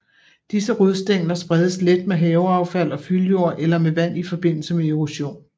Disse rodstængler spredes let med haveaffald og fyldjord eller med vand i forbindelse med erosion